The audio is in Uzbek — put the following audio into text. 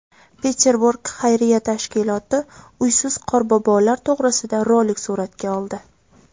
Peterburg xayriya tashkiloti uysiz Qorbobolar to‘g‘risida rolik suratga oldi .